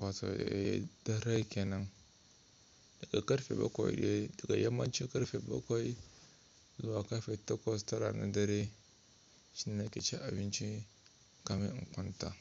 wato darai kenan daga karfe bakwai da yammacin karfe bakwai zuwa karfe takwas tara na dare shine nake cin abinci kamar in kwanta.